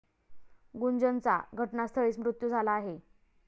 गुंजनचा घटनास्थळीच मृत्यू झाला आहे.